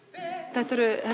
þetta eru